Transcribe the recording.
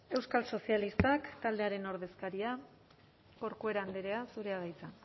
euskal sozialistak taldearen ordezkaria corcuera andrea zurea da hitza